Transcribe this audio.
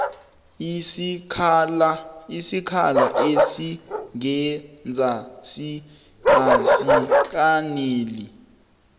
isikhala esingenzasi asikaneli